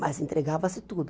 Mas entregava-se tudo.